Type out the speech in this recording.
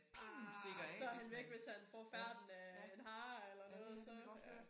Ah så han væk hvis han får færten af en hare eller noget så ja